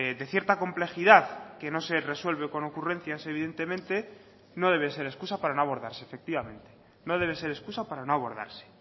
de cierta complejidad que no se resuelve con ocurrencias evidentemente no debe ser excusa para no abordarse efectivamente no debe ser excusa para no abordarse